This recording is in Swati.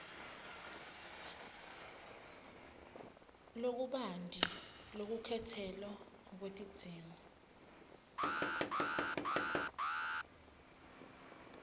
lokubanti lwelukhetselo lwetidzingo